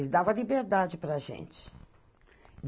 Ele dava liberdade para a gente.